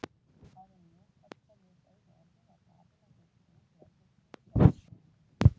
Áður en Jón gat komið upp einu orði var Daðína hlaupin út úr eldhúsinu, skellihlæjandi.